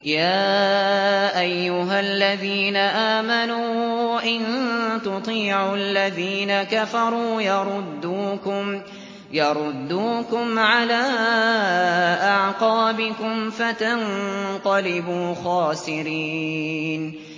يَا أَيُّهَا الَّذِينَ آمَنُوا إِن تُطِيعُوا الَّذِينَ كَفَرُوا يَرُدُّوكُمْ عَلَىٰ أَعْقَابِكُمْ فَتَنقَلِبُوا خَاسِرِينَ